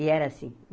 E era assim.